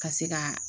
Ka se ka